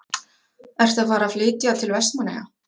Ertu að fara að flytja til Vestmannaeyja?